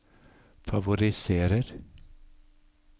favoriserer